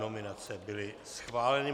Nominace byly schváleny.